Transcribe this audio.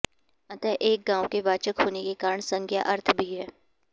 अतः एक गांव के वाचक होने के कारण संज्ञा अर्थ भी है